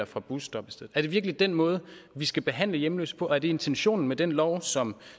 fra busstoppestedet er det virkelig den måde vi skal behandle hjemløse på og er det intentionen med den lov som